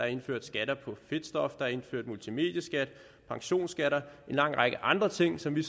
indført skatter på fedtstof der er indført multimedieskat pensionsskatter en lang række andre ting som vi